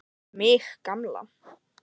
Mig gamla.